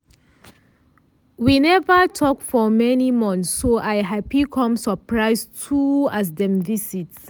we neva talk for many month so i happy com surprise too as dem visit.